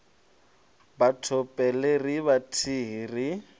batho pele ri vhathihi ri